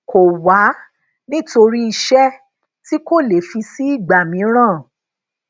kọ wá nítorí iṣẹ tí kò le fi si igba miiran